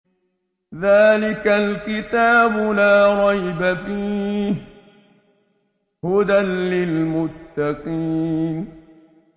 ذَٰلِكَ الْكِتَابُ لَا رَيْبَ ۛ فِيهِ ۛ هُدًى لِّلْمُتَّقِينَ